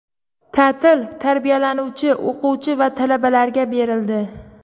Ta’til tarbiyalanuvchi, o‘quvchi va talabalarga berildi.